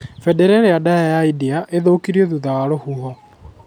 Mbendera ĩrĩa ndaya ya India ĩgĩthũkio thutha wa rũhuho